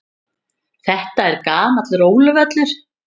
Þetta er gamall róluvöllur.